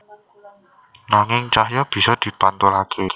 Nanging cahya bisa dipantulaké